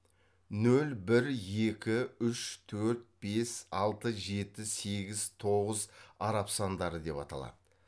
нөл бір екі үш төрт бес алты жеті сегіз тоғыз араб сандары деп аталады